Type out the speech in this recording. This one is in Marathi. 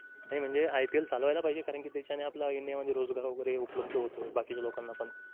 नाही म्हणजे ipl चालवायला पाहिजे. कारण कि त्याच्याने आपल्या इंडिया मध्ये रोजगार वगैरे उपलब्ध होतोय. बाकीच्या लोकांना पण